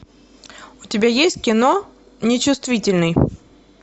у тебя есть кино нечувствительный